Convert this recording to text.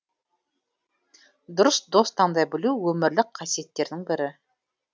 дұрыс дос таңдай білу өмірлік қасиеттердің бірі